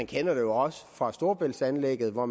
kender det jo også fra storebæltsanlægget hvor